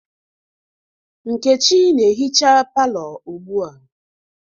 Nkechi na-ehicha palọ ugbua.